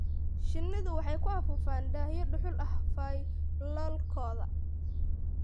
Shinnidu waxay ku afuufaan daahyo dhuxul ah faylalkooda